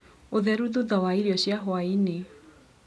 ũtheru thutha wa irio cia hwainĩ.